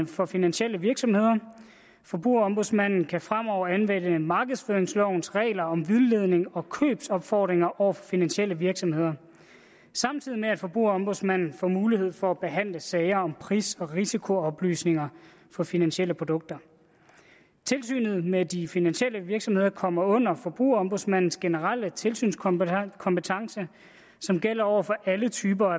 for finansielle virksomheder forbrugerombudsmanden kan fremover anvende markedsføringslovens regler om vildledning og købsopfordringer over for finansielle virksomheder samtidig med at forbrugerombudsmanden får mulighed for at behandle sager om pris og risikooplysninger for finansielle produkter tilsynet med de finansielle virksomheder kommer under forbrugerombudsmandens generelle tilsynskompetence som gælder over for alle typer